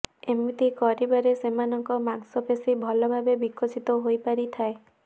ଏମିତି କରିବାରେ ସେମାନଙ୍କ ମାଂସପେଶୀ ଭଲ ଭାବେ ବିକଶିତ ହୋଇପାରିଥାଏ